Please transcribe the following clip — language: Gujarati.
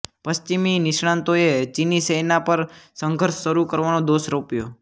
પશ્ચિમી નિષ્ણાતોએ ચીની સેના પર સંઘર્ષ શરૂ કરવાનો દોષ રોપ્યો